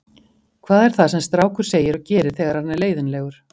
Hvað er það sem strákur segir og gerir þegar hann er leiðinlegur?